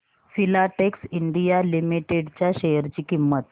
Filatex India limited च्या share ची किंमत